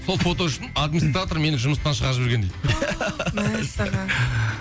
сол фото үшін администратор мені жұмыстан шығарып жіберген дейді мәссаған